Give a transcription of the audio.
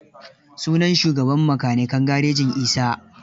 Sunan shugaban makanikan garejin Isa.